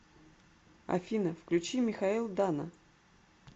афина включи михаил дана